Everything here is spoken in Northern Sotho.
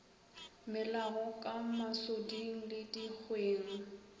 melago ka masoding le dikgweng